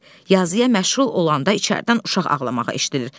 Yazıya məşğul olanda içəridən uşaq ağlamağa eşidilir.